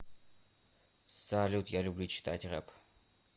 салют я люблю читать реп